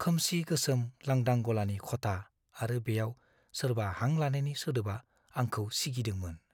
खोमसि गोसोम लांदां गलानि खथा आरो बेयाव सोरबा हां लानायनि सोदोबआ आंखौ सिगिदोंमोन।